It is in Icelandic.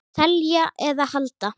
Selja eða halda?